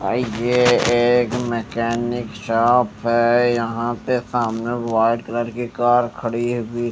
भाई यह एक मैकेनिक शॉप है यहां पे सामने व्हाइट कलर की कार खड़ी हुई--